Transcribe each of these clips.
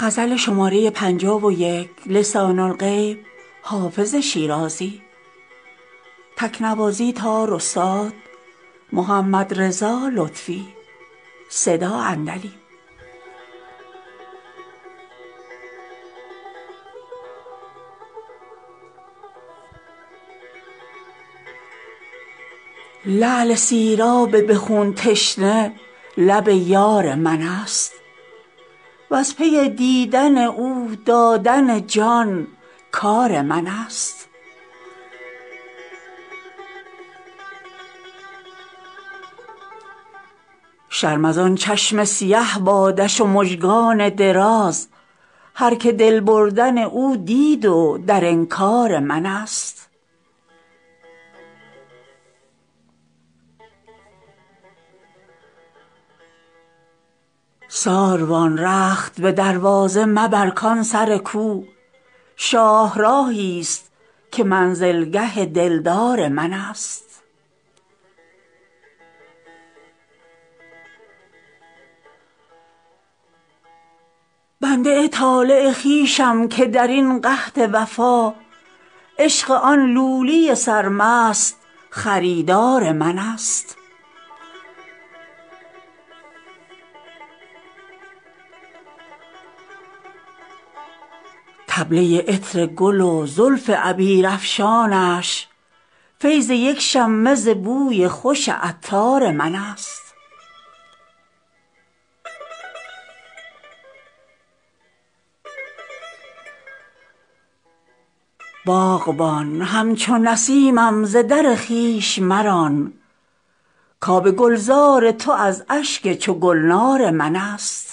لعل سیراب به خون تشنه لب یار من است وز پی دیدن او دادن جان کار من است شرم از آن چشم سیه بادش و مژگان دراز هرکه دل بردن او دید و در انکار من است ساروان رخت به دروازه مبر کان سر کو شاهراهی ست که منزلگه دلدار من است بنده ی طالع خویشم که در این قحط وفا عشق آن لولی سرمست خریدار من است طبله ی عطر گل و زلف عبیرافشانش فیض یک شمه ز بوی خوش عطار من است باغبان همچو نسیمم ز در خویش مران کآب گلزار تو از اشک چو گلنار من است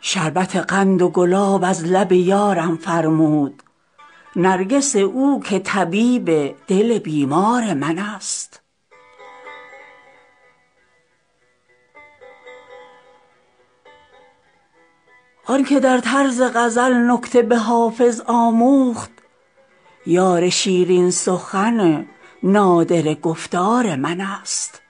شربت قند و گلاب از لب یارم فرمود نرگس او که طبیب دل بیمار من است آن که در طرز غزل نکته به حافظ آموخت یار شیرین سخن نادره گفتار من است